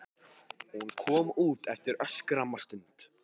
Hún kom út eftir örskamma stund.